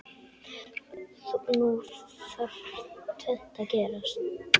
Nú þarf tvennt að gerast.